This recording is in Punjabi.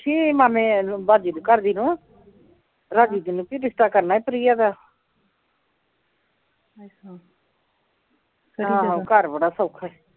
ਪੁੱਛੀ ਮਾਮੇ ਨੂੰ ਭਾਜੀ ਦੀ ਘਰਦੀ ਨੀ ਨੂੰ ਕਿ ਰਿਸ਼ਤਾ ਕਰਨਾ ਈ ਪ੍ਰਿਆ ਦਾ ਆਹੋ ਘਰ ਬੜਾ ਸੌਖਾ ਈ